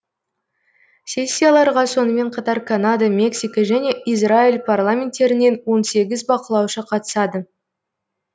сессияларға сонымен қатар канада мексика және израиль парламенттерінен он сегіз бақылаушы қатысады